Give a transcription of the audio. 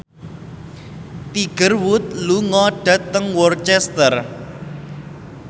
Tiger Wood lunga dhateng Worcester